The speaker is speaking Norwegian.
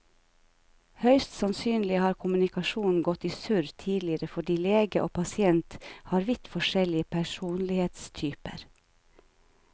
Høyst sannsynlig har kommunikasjonen gått i surr tidligere fordi lege og pasient har vidt forskjellig personlighetstyper.